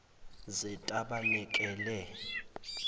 zetabanekele